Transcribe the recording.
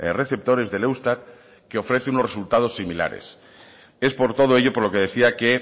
receptores del eustat que ofrece unos resultados similares es por todo ello por lo que decía que